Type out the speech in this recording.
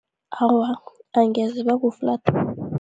Awa, angeze bakuflathela